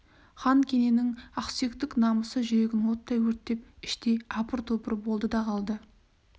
хан кененің ақсүйектік намысы жүрегін оттай өртеп іштей апыр-топыр болды да қалды